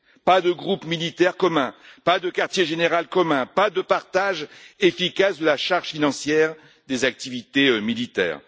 Pas de groupes militaires communs, pas de quartier général commun, pas de partage efficace de la charge financière des activités militaires.